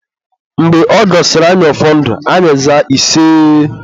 Mgbe ọ gọsịrị anyị ọfọ ndụ, anyị zaa iseeeeee